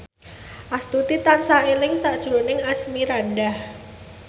Astuti tansah eling sakjroning Asmirandah